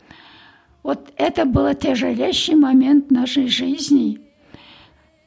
вот это было тяжелейший момент нашей жизни